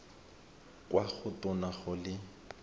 kwa go tona go le